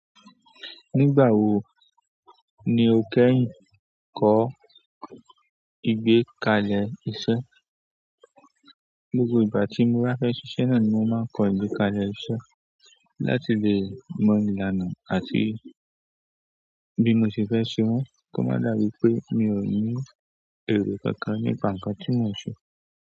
Nígbà wo ni o kẹ́hin kọ ìgbé kalẹ̀ iṣẹ́? Gbogbo ìgbà tí mo bá fẹ́ ṣiṣẹ́ náà ni mo máa ń kọ ìgbé kalẹ̀ iṣẹ́. Láti lè mọ ìlànà àti bí mo ṣe fẹ́ ṣe wọ́n. Kọ́mándà wípé mi ò ní èrè kankan nípa ǹkan tí mon ṣe.